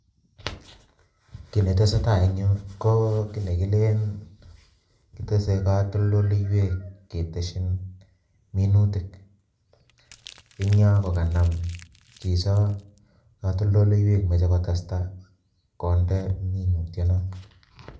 Kit netesetai en yuh ko kit nekileen kitese katoltolwek ketesyii minutia. Eng yoh kokanam chichon katoltolweik moche kotestai, kondee keringonik